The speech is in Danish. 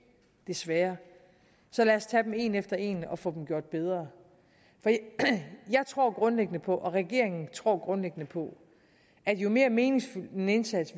desværre så lad os tage dem en efter en og få dem gjort bedre jeg tror grundlæggende på og regeringen tror grundlæggende på at jo mere meningsfyldt en indsats